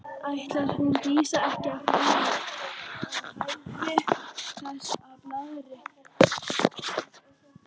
Ætlar hún Dísa ekki að fara að hætta þessu blaðri?